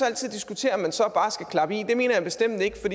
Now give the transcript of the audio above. altid diskutere om man så bare skal klappe i men det mener jeg bestemt ikke for